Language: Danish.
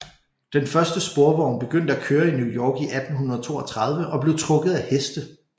Den første sporvogn begyndte at køre i New York i 1832 og blev trukket af heste